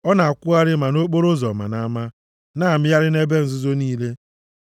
Ọ na-akwụgharị ma nʼokporoụzọ ma nʼama; na-amịgharị nʼebe nzuzo niile.)